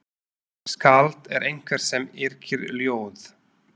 Skáld er einhver sem yrkir ljóð.